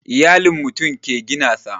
Iyalin mutum ke gina sa